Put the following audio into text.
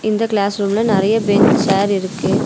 இந்த கிளேஸ் ரூம்ல நெறைய பெஞ்ச் சேர் இருக்கு.